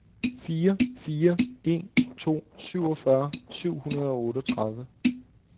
fire fire en to syvogfyrre syv hundrede og otteogtredive